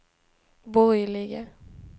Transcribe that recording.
borgerliga